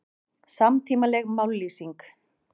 Samtímaleg mállýsing